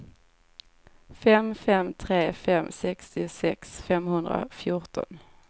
fem fem tre fem sextiosex femhundrafjorton